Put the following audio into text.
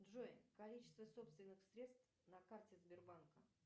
джой количество собственных средств на карте сбербанка